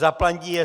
Zaplatí je